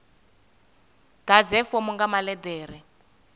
ḓadze fomo nga maḽe ḓere